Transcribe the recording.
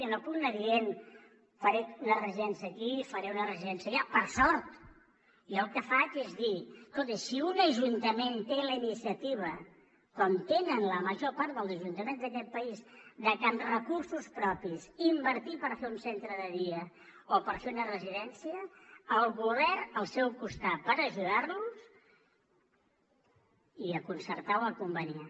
jo no puc anar dient faré una residència aquí i faré una residència allà per sort jo el que faig és dir escolti si un ajuntament té la iniciativa com la tenen la major part dels ajuntaments d’aquest país de amb recursos propis invertir per fer un centre de dia o per fer una residència el govern al seu costat per ajudar los i a concertar o a conveniar